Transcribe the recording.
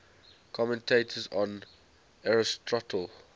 commentators on aristotle